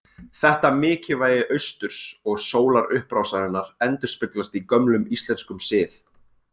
Þetta mikilvægi austurs og sólarupprásarinnar endurspeglast í gömlum íslenskum sið.